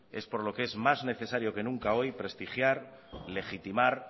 es por lo que es más necesaria que nunca hoy prestigiar legitimar